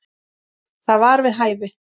Það var við hæfi.